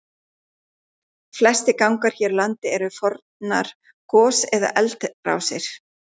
Flestir gangar hér á landi eru fornar gos- eða eldrásir.